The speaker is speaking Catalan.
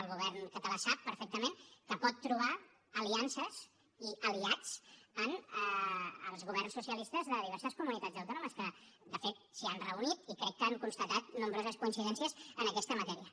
el govern català sap perfectament que pot trobar aliances i aliats en els governs socialistes de diverses comunitats autònomes que de fet s’hi han reunit i crec que han constatat nombroses coincidències en aquesta matèria